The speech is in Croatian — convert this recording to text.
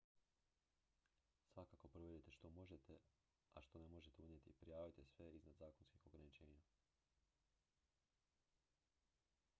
svakako provjerite što možete a što ne možete unijeti i prijavite sve iznad zakonskih ograničenja